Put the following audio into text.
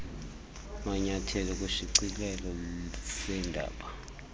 manyethelo kwisishicilelo seendaba